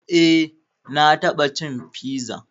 Eh na taɓa cin piza